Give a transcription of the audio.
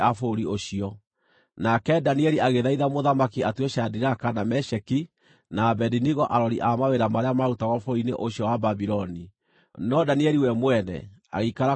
Nake Danieli agĩthaitha mũthamaki atue Shadiraka, na Meshaki, na Abedinego arori a mawĩra marĩa maarutagwo bũrũri-inĩ ũcio wa Babuloni, no Danieli we mwene agĩikara kũu mũciĩ wa ũthamaki.